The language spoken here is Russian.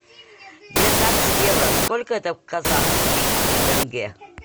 девятнадцать евро сколько это казахских тенге